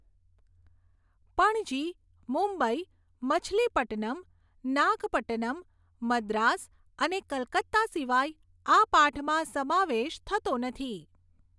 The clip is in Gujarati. પણજી, મુંબઈ, મછલીપટ્ટનમ, નાગપટ્ટનમ, મદ્રાસ અને કલકત્તા સિવાય આ પાઠમાં સમાવેશ થતો નથી.